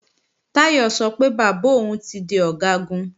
Táyọ̀ sọ pé bàbá òun ti di Ọ̀gágun